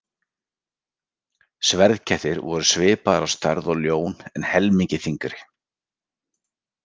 Sverðkettir voru svipaðir á stærð og ljón en helmingi þyngri.